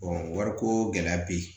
wariko gɛlɛya bɛ yen